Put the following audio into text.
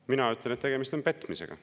Mina ütlen, et tegemist on petmisega.